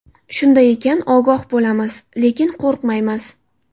Shunday ekan, ogoh bo‘lamiz, lekin qo‘rqmaymiz.